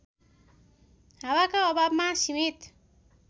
हावाका अभावमा सीमित